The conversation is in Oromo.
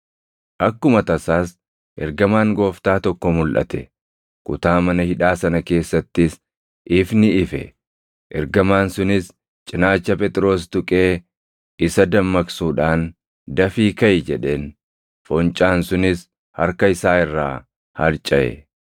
Akkuma tasaas, ergamaan Gooftaa tokko mulʼate; kutaa mana hidhaa sana keessattis ifni ife; ergamaan sunis cinaacha Phexros tuqee isa dammaqsuudhaan, “Dafii kaʼi!” jedheen. Foncaan sunis harka isaa irraa harcaʼe.